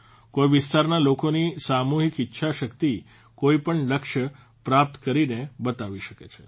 કોઇ વિસ્તારના લોકોની સામૂહિક ઇચ્છા શક્તિ કોઇપણ લક્ષ્ય પ્રાપ્ત કરીને બતાવી શકે છે